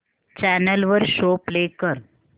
channel वर show play कर